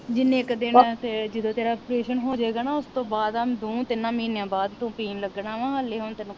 ਜਿੰਨੇ ਕ ਦਿਨ ਜਦੋ ਤੇਰਾ ਅਪ੍ਰੇਸ਼ਨ ਹੋਜੇਗਾ ਨਾ ਉਸਤੋਂ ਬਾਅਦਾ ਦੋਹਾ ਤਿੰਨਾ ਮਹੀਨਿਆਂ ਬਾਅਦ ਤੂੰ ਪੀਣ ਲਗਣਾ ਵਾ ਹਲੇ ਹੁਣ ਤੈਨੂੰ